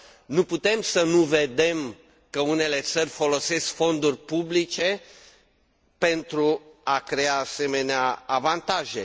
Nu putem să nu vedem că unele țări folosesc fonduri publice pentru a crea asemenea avantaje.